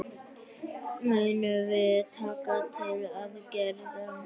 Munum við taka til aðgerða?